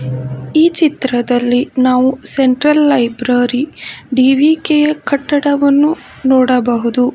ಈ ಚಿತ್ರದಲ್ಲಿ ನಾವು ಸೆಂಟ್ರಲ್ ಲೈಬ್ರರಿ ಡಿ_ವಿ_ಕೆ ಯ ಕಟ್ಟಡವನ್ನು ನೋಡಬಹುದು.